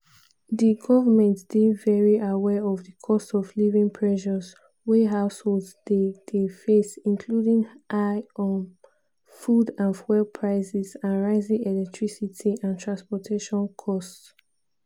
"di govment dey very aware of di cost-of-living pressures wey households dey dey face including high um food and fuel prices and rising electricity and transportation costs.